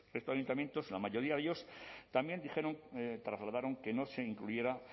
los ayuntamientos la mayoría de ellos también dijeron trasladaron que no se incluyera